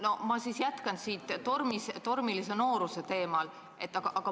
No ma siis jätkan tormilise nooruse teemal.